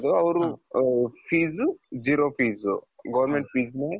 ಅವರ fees zero fees government feesನ.